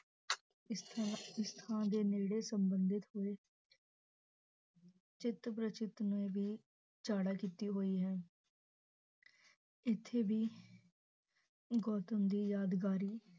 ਇਸ ਇਸ ਥਾਂ ਦੇ ਨੇੜੇ ਸੰਬੰਦਿਤ ਹੋਏ ਚਿਤ ਪ੍ਰਤੀਚਿਤ ਨੇ ਵੀ ਕੀਤੀ ਹੋਇ ਹੈ ਇਥੇ ਵੀ ਗੌਤਮ ਦੀ ਯਾਦਕਾਰੀ